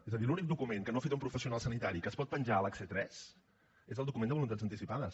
és a dir l’únic document que no ha fet un professional sanitari que es pot penjar a l’hc3 és el document de voluntats anticipades